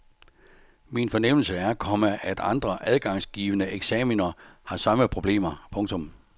Min fornemmelse er, komma at andre adgangsgivende eksaminer har samme problemer. punktum